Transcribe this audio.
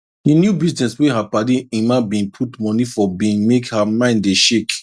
di new business wey her padi Emma bin put money for bin make her mind dey shake